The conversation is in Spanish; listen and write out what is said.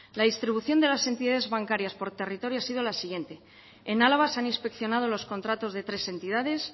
la distribución de las entidades bancarias por territorio ha sido la siguiente en álava se han inspeccionado los contratos de tres entidades